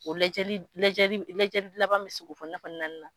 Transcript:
O lajɛlili lajɛli lɛjɛli laban bɛ sigi naani na